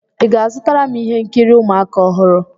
Ị ga-azụtara m ihe nkiri ụmụaka ọhụrụ?